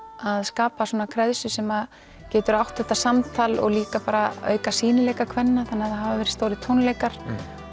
að skapa svona sem getur átt þetta samtal og líka bara auka sýnileika kvenna þannig það hafa verið stórir tónleikar